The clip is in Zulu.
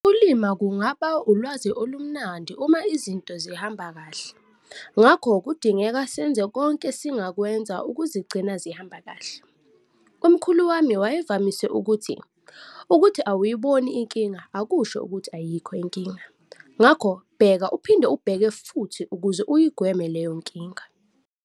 Ukulima kungaba ulwazi olumnandi uma izinto zihamba kahle, ngakho kudingeka senze konke esingakwenza ukuzigcina zihamba kahle. Umkhulu wami wayevamise ukuthi- 'Ukuthi awuyiboni inkinga, akusho ukuthi ayikho inkinga.ngakho bheka uphinde ubheke futhi ukuze uyigweme leyo nkinga.'